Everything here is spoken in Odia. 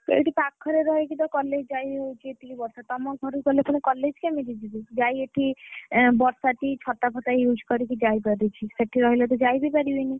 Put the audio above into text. ଏଇଠି ପାଖରେ ରହିକିରି ତ college ଯାଇହଉଛି, ଯେତିକି ବର୍ଷା ତମ ଘରକୁ ଗଲେ ପୁଣି college କେମିତି ଯିବି? ଯାହି ଏଠି ବର୍ଷାତି, ଛତା ଫତା use କରିକି ଯାଇପାରିବି। ସେଠି ରହିଲେ ଯାଇ ବି ପରିବିନି।